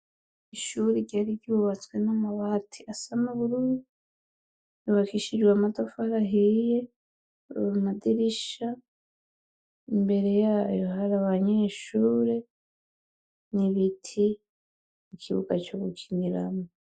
Ishure ryari iryubatswe n'amabati asama burudi bakishijwe amatafar ahiye ura amadirisha imbere yayo hari abanyeshure nibiti i kibuga co gukiniramwo.